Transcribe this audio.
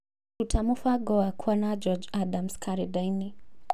ruta mũbango wakwa na George Adams karenda-inĩ